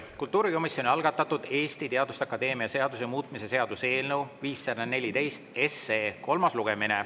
Kultuurikomisjoni algatatud Eesti Teaduste Akadeemia seaduse muutmise seaduse eelnõu 514 kolmas lugemine.